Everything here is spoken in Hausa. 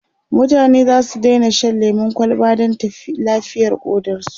mutane zasu Daina Shan lemun kwalba Dan lafiyar ƙodarsu